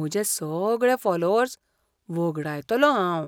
म्हजे सगळे फॉलोअर्स वगडायतलों हांव.